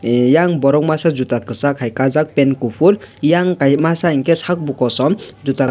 yang borok masa jota kasak hai kajak pen kufur yang kai masa hingkhe sakbo kosom jota.